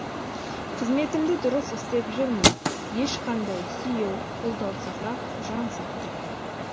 қызметімді дұрыс істеп жүрмін ешқандай сүйеу қолдаусыз ақ жан сақтаймын